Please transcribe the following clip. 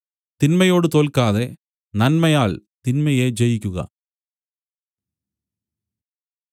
തിന്മയോട് തോല്ക്കാതെ നന്മയാൽ തിന്മയെ ജയിക്കുക